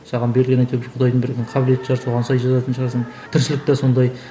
саған берілген бір құдайдың бір қабілеті шығар соған сай жазатын шығарсың тіршілік те сондай